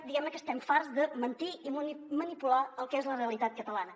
diguem·ne que estem farts de mentir i manipular el que és la realitat cata·lana